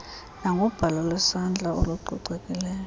nangobhalo lwesandla olucocekileyo